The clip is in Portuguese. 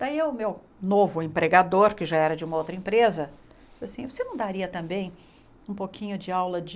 Daí o meu novo empregador, que já era de uma outra empresa, disse assim, você não daria também um pouquinho de aula de...